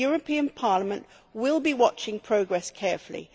The European Parliament will be watching progress carefully.